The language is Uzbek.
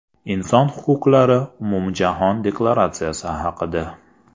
Inson huquqlari umumjahon deklaratsiyasi haqida.